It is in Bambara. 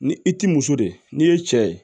Ni i t'i muso de ye n'i ye cɛ ye